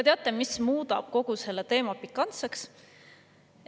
Teate, mis muudab kogu selle teema pikantseks?